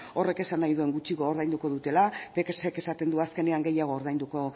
horrek esan nahi duen gutxiago ordainduko dutela esaten du azkenean gehiago ordainduko